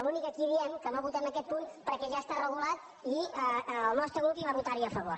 l’únic que aquí diem és que no votem aquest punt perquè ja està regulat i el nostre grup hi va votar a favor